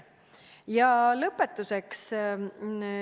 Ja lõpetuseks.